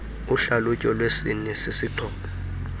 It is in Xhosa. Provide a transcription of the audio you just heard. uhlalutyo lwesini sisixhobo